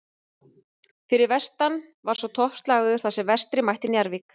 Fyrir vestan var svo toppslagur þar sem Vestri mætti Njarðvík.